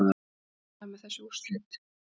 Við erum ánægðir með þessi úrslit